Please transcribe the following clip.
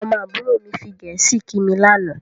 Ọmọ àbúrò mi fi Gẹ̀ẹ́sì kí mi lànà